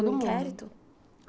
Mundo inquérito?